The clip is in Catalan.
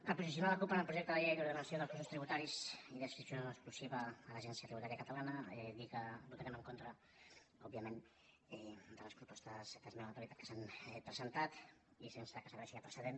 per posicionar la cup en el projecte de llei d’ordenació dels cossos tributaris d’adscripció exclusiva a l’agència tributària catalana dir que votarem en contra òbviament de les propostes d’esmena a la totalitat que s’han presentat i sense que serveixi de precedent